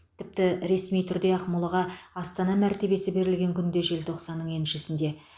тіпті ресми түрде ақмолаға астана мәртебесі берілген күн де желтоқсанның еншісінде